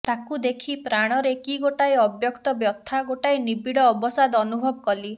ତାକୁ ଦେଖି ପ୍ରାଣରେ କି ଗୋଟାଏ ଅବ୍ୟକ୍ତ ବ୍ୟଥା ଗୋଟାଏ ନିବିଡ଼ ଅବସାଦ ଅନୁଭବ କଲି